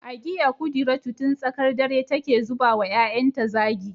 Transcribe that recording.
Agiya kudiratu tun tsakar dare take ta zuba wa ‘ya’yanta zagi